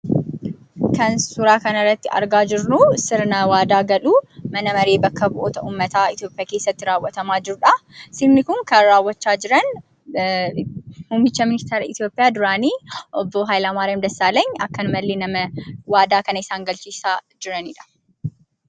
Kan suuraa kanarratti argaa jirru, sirna waadaa galuu mana maree bakka bu'oota uummataa Itoophiyaa keessatti raaawatamaa jirudha. Sirni kun kan raawwachaa jiran, muummicha ministeera Itoophiyaa duraanii obbo hayilamaariyaam dassaalenyi akkanumallee nama waadaa kana isaan galchisiisaa jiranidha.